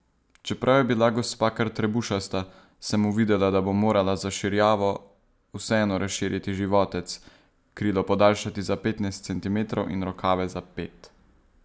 Čeprav je bila gospa kar trebušasta, sem uvidela, da bom morala za Širjavo vseeno razširiti životec, krilo podaljšati za petnajst centimetrov in rokave za pet.